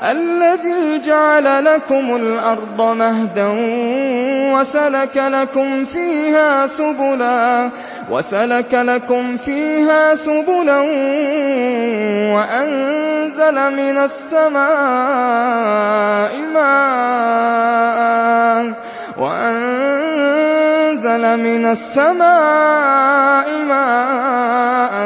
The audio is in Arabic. الَّذِي جَعَلَ لَكُمُ الْأَرْضَ مَهْدًا وَسَلَكَ لَكُمْ فِيهَا سُبُلًا وَأَنزَلَ مِنَ السَّمَاءِ مَاءً